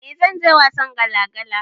Eh zanyi wasan gala gala